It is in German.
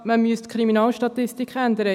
Man müsste die Kriminalstatistik ändern.